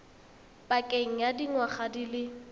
pakeng ya dingwaga di le